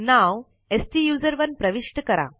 नाव स्टुसरोने प्रविष्ट करा